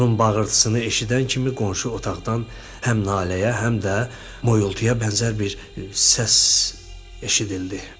Onun bağırtısını eşidən kimi qonşu otaqdan həm naləyə, həm də moyultuya bənzər bir səs eşidildi.